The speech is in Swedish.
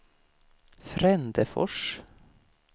Frändefors